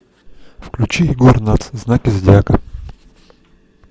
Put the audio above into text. включи егор натс знаки зодиака